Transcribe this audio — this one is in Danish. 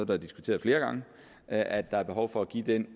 været diskuteret flere gange at der er behov for at give den